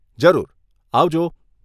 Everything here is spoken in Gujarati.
જરૂર, આવજો.